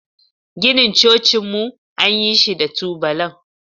Ginin cocinmu an yi shi da tubalan.